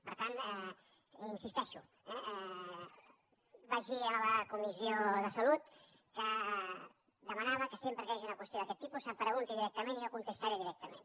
per tant hi insisteixo vaig dir en la comissió de salut que demanava que sempre que hi hagi una qüestió d’aquest tipus se’m pregunti directament i jo contestaré directament